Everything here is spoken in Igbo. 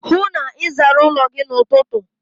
Hụụ na Ị zara ụlọ gị n'ụtụtụ!